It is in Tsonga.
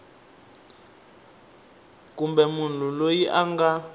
kumbe munhu loyi a nga